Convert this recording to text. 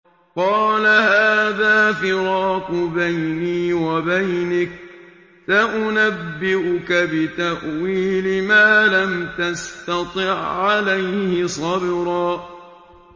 قَالَ هَٰذَا فِرَاقُ بَيْنِي وَبَيْنِكَ ۚ سَأُنَبِّئُكَ بِتَأْوِيلِ مَا لَمْ تَسْتَطِع عَّلَيْهِ صَبْرًا